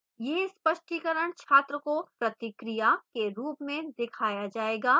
यह स्पष्टीकरण छात्र को प्रतिक्रिया feedback के रूप में दिखाया जाएगा